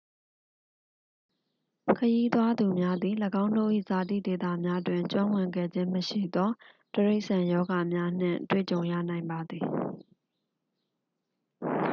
ခရီးသွားသူများသည် ၎င်းတို့၏ဇာတိဒေသများတွင် ကျွမ်းဝင်ခဲ့ခြင်းမရှိသော တိရိစ္ဆာန်ရောဂါများနှင့် တွေ့ကြုံရနိုင်ပါသည်